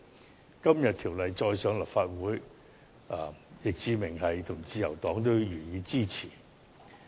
相關議案今天再次提交立法會，易志明議員和自由黨也會予以支持。